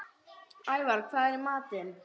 Ævar, hvað er í matinn?